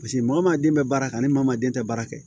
Paseke maa den bɛ baara kɛ ani maa den tɛ baara kɛ